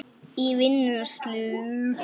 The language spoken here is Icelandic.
í vinnslu